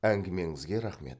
әңгімеңізге рахмет